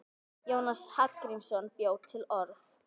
Jónas Hallgrímsson bjó til orð.